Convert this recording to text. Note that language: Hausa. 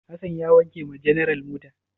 Hassan ya wanke wa general mota?